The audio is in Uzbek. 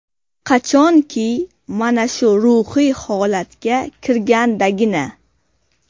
Qachonki, mana shu ruhiy holatga kirgandagina.